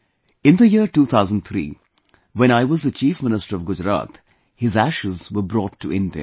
In the year 2003, when I was the Chief Minister of Gujarat, his ashes were brought to India